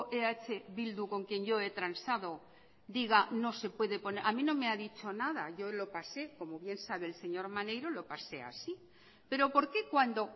eh bildu con quien yo he transado diga no se puede a mí no me ha dicho nada yo lo pasé como bien sabe el señor maneiro lo pasé así pero por qué cuando